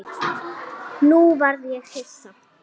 Nú varð ég hissa.